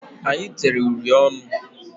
Anyị tere uri ọnụ.